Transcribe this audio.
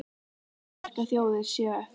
Margar sterkar þjóðir séu eftir.